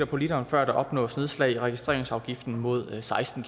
på literen før der opnås nedslag i registreringsafgiften mod seksten